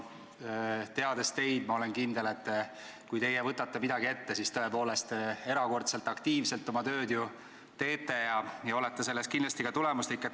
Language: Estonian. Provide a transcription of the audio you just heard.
Teades teid, olen ma kindel, et kui teie võtate midagi ette – tõepoolest, te teete erakordselt aktiivselt oma tööd –, siis te olete kindlasti tulemuslik.